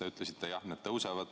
Te ütlesite, et jah, need tõusevad.